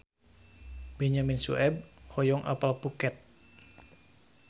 Benyamin Sueb hoyong apal Phuket